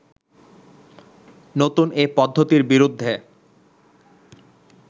নতুন এ পদ্ধতির বিরুদ্ধে